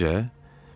Necə-necə?